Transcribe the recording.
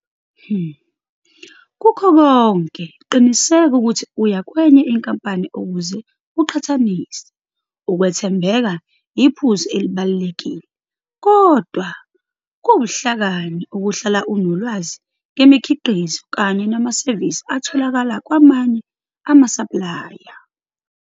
Kukho konke, qiniseka ukuthi uya kwenye inkampani ukuze uqhathanise. Ukwethembeka yiphuzu elibalulekile, kodwa kuwubuhlakani ukuhlala unolwazi ngemikhiqizo kanye namasevisi atholakala kwamamye amasaplaya.